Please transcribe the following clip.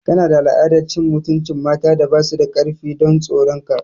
Kana da al'adar cin mutuncin matan da ba su da karfi don tsoron ka.